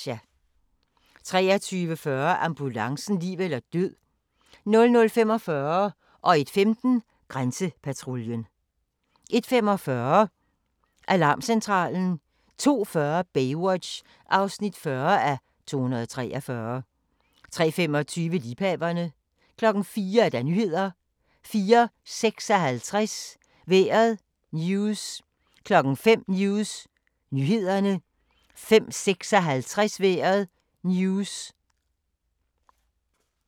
23:40: Ambulancen - liv eller død 00:45: Grænsepatruljen 01:15: Grænsepatruljen 01:45: Alarmcentralen 02:40: Baywatch (40:243) 03:25: Liebhaverne 04:00: Nyhederne 04:56: Vejret News 05:00: News nyhederne 05:56: Vejret News